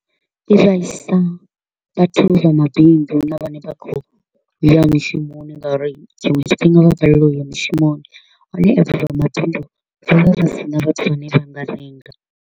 I vhaisa vhathu vha mabindu na vhane vha kho u ya mishumoni nga uri tshiṅwe tshifhinga vha balelwa u ya mishumoni. Hone izwi zwa mabindu, zwi vha zwi si na vhathu vhane vha nga renga.